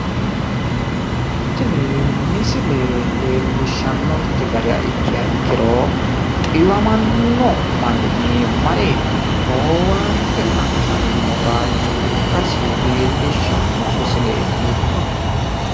Tini misile leellishannonkke gara ikkiha ikkiro xiwamano manni mare owaantte adhanno baayicho ikkasi leellishanno misileeti